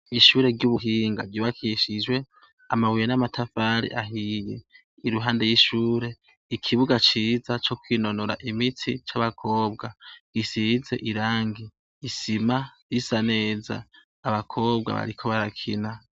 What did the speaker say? Ishure ry'ubuhinga ryubakishijwe amabuye n'amatafari ahiye. Iruhande y'ishure, ikibuga ciza co kwinonora imitsi c'abakobwa gisize irangi, isima isa neza, abakobwa bariko barakina.